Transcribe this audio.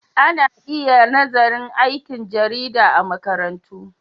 Ana iya nazarin aikin jarida a makarantu.